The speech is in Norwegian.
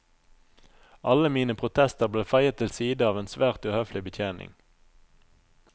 Alle mine protester ble feiet til side av en svært uhøflig betjening.